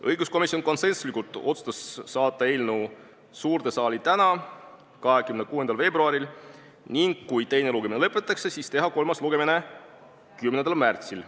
Õiguskomisjon otsustas konsensuslikult saata eelnõu suurde saali tänaseks, 26. veebruariks, ning kui teine lugemine lõpetatakse, siis teha kolmas lugemine 10. märtsil.